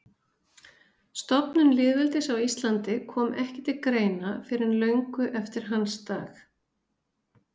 Stofnun lýðveldis á Íslandi kom ekki til greina fyrr en löngu eftir hans dag.